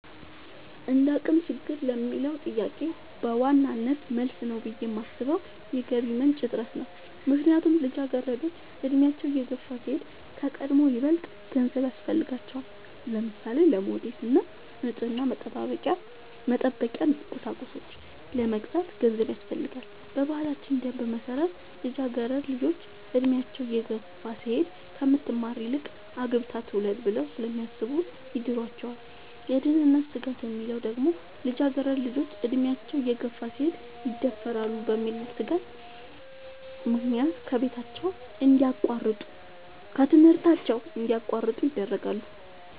እንደአቅም ችግር ለሚለው ጥያቄ በዋናነት መልስ ነው ብሌ የማሥበው የገቢ ምንጭ እጥረት ነው። ምክንያቱም ልጃገረዶች አድሚያቸው እየገፋ ሲሄድ ከቀድሞው ይበልጥ ገንዘብ ያሥፈልጋቸዋል። ለምሳሌ:-ለሞዴስ እና ንፅህናን መጠበቂያ ቁሳቁሶች ለመግዛት ገንዘብ ያሥፈልጋል። በባህላችን ደንብ መሠረት ልጃገረድ ልጆች እድሚያቸው እየገፋ ሲሄድ ከምትማር ይልቅ አግብታ ትውለድ ብለው ስለሚያሥቡ ይድሯቸዋል። የደህንነት ስጋት የሚለው ደግሞ ልጃገረድ ልጆች አድሚያቸው እየገፋ ሲሄድ ይደፈራሉ በሚል ሥጋት ምክንያት ከትምህርታቸው እንዲያቋርጡ ይደረጋሉ።